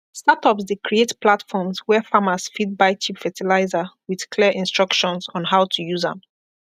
startups dey create platforms where farmers fit buy cheap fertilizer with clear instructions on how to use am